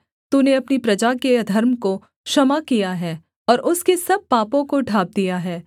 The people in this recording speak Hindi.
तूने अपनी प्रजा के अधर्म को क्षमा किया है और उसके सब पापों को ढाँप दिया है सेला